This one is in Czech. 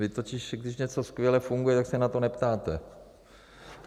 Vy totiž, když něco skvěle funguje, tak se na to neptáte.